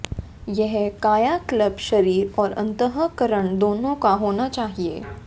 यह कायाकल्प शरीर और अन्तःकरण दोनों का होना चाहिए